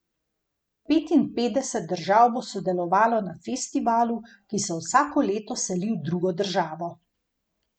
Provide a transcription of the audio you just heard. Petinpetdeset držav bo sodelovalo na festivalu, ki se vsako leto seli v drugo državo.